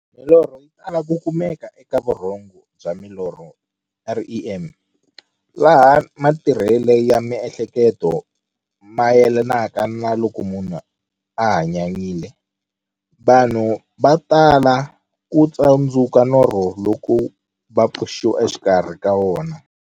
Milorho yi tala ku kumeka eka vurhongo bya milorho, REM, laha matirhele ya miehleketo mayelanaka na loko munhu a hanyanyile. Vanhu va tala ku tsundzuka norho loko va pfuxiwa exikarhi ka wona.